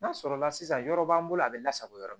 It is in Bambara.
N'a sɔrɔla sisan yɔrɔ b'an bolo a bɛ lasago yɔrɔ min